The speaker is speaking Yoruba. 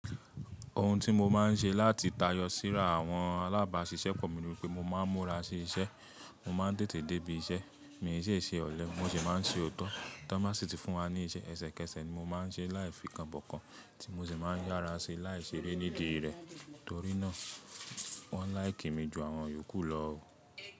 Ohun tí mo máa ń ṣe láti tayọ síra àwọn alábàáṣiṣẹ́ pọ̀ ni wípé mo máa ń múra sí iṣẹ́, mo máa ń tètè débi iṣẹ́, mi ì í ṣe ọ̀lẹ, mo sì máa ń ṣe òótọ́. Tọ́n bá sì ti fún wa ní iṣẹ́, ẹsẹ̀kẹsẹ̀ ni mo máa ń ṣe é láì fìkanbọ̀kan tí mo sì máa ń yára ṣe láìṣe eré nídìí rẹ̀ torí náà wọ́n láìkì mi ju àwọn yòókù lọ o.